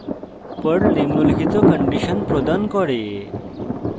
perl নিম্নলিখিত condition প্রদান করে